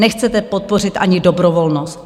Nechcete podpořit ani dobrovolnost.